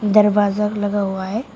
दरवाजा लगा हुआ है।